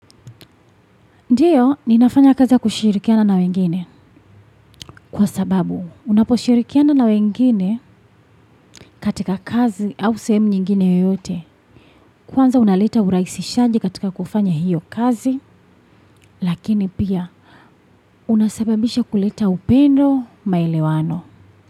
Ndio, ninafanya kazi ya kushirikiana na wengine kwa sababu, unaposhirikiana na wengine katika kazi au sehemu nyingine yeyote, kwanza unaleta urahisishaji katika kufanya hiyo kazi lakini pia, unasababisha kuleta upendo, maelewano.